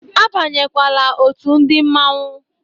Abanyekwala òtù ndị Mmanwu.